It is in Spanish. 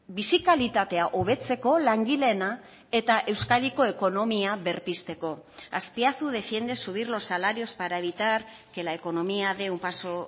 bizi kalitatea hobetzeko langileena eta euskadiko ekonomia berpizteko azpiazu defiende subir los salarios para evitar que la economía de un paso